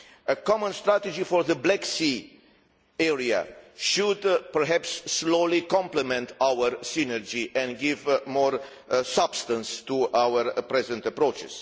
A common strategy for the Black Sea area should perhaps slowly complement our synergy and give more substance to our present approach.